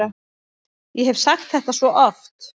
Ég hef sagt þetta svo oft.